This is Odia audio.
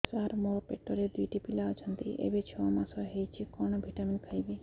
ସାର ମୋର ପେଟରେ ଦୁଇଟି ପିଲା ଅଛନ୍ତି ଏବେ ଛଅ ମାସ ହେଇଛି କଣ ଭିଟାମିନ ଖାଇବି